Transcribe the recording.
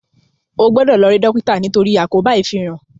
o gbódò lò ri dókítà nitori àkóbá ifinran!